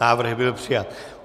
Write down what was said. Návrh byl přijat.